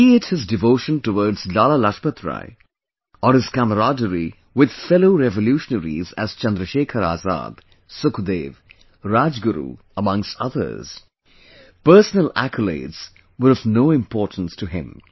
Be it his devotion towards Lala Lajpat Rai or his camaraderie with fellow revolutionaries as ChandraShekhar Azad, Sukhdev, Rajguru amongst others, personal accolades were of no importance to him